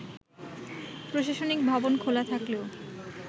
প্রশাসনিক ভবন খোলা থাকলেও